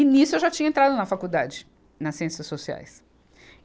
E nisso eu já tinha entrado na faculdade, nas ciências sociais.